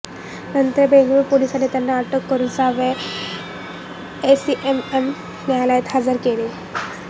नंतर बेंगळूर पोलिसांनी त्याला अटक करून सहाव्या एसीएमएम न्यायालयात हजर केले